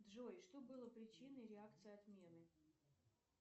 джой что было причиной реакции отмены